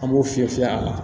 An b'o fiyɛ a la